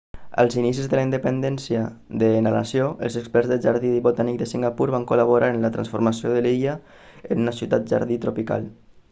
als inicis de la independència de la nació el experts del jardí botànic de singapur van col·laborar en la transformació de l'illa en una ciutat jardí tropical